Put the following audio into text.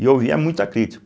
E eu ouvia muita crítica.